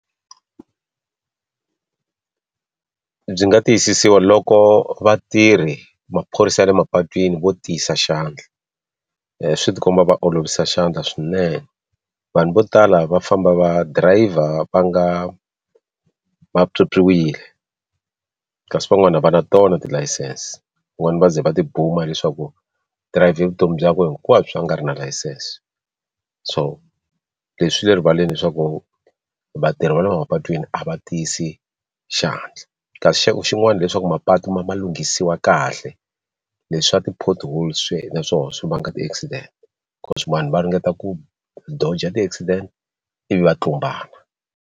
Byi nga tiyisisiwa loko vatirhi maphorisa ya le mapatwini vo tiyisa xandla swi tikomba va olovisa xandla swinene vanhu vo tala va famba va driver va nga va pyopyiwile kasi van'wani a va na tona tilayisense van'wani va ze va tibuma hileswaku dirayivhe vutomi bya ku hinkwabyo va nga ri na layisense so leswi swi le rivaleni leswaku vatirhi va le mapatwini a va tiyisi xandla kasi xin'wana hileswaku mapatu ma lunghisiwa kahle leswa ti-pothole swinene naswona swi vanga ti accident swin'wana va ringeta ku dodge ti accident i vi va tlumbana.